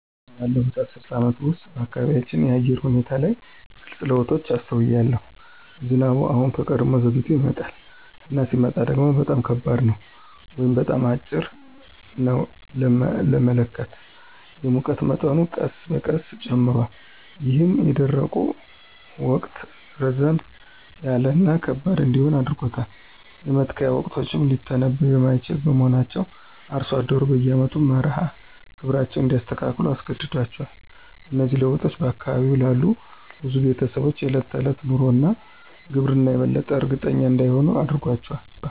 ባለፉት አስርት ዓመታት ውስጥ፣ በአካባቢው የአየር ሁኔታ ላይ ግልጽ ለውጦችን አስተውያለሁ። ዝናቡ አሁን ከቀድሞው ዘግይቶ ይመጣል፣ እና ሲመጣ ደግሞ በጣም ከባድ ነው ወይም በጣም አጭር ነው ለመመካት። የሙቀት መጠኑ ቀስ በቀስ ጨምሯል, ይህም የደረቁ ወቅት ረዘም ያለ እና ከባድ እንዲሆን አድርጎታል. የመትከያ ወቅቶችም ሊተነብዩ የማይችሉ በመሆናቸው አርሶ አደሮች በየአመቱ መርሃ ግብራቸውን እንዲያስተካክሉ አስገድዷቸዋል. እነዚህ ለውጦች በአካባቢው ላሉ ብዙ ቤተሰቦች የዕለት ተዕለት ኑሮ እና ግብርና የበለጠ እርግጠኛ እንዳይሆኑ አድርጓቸዋል።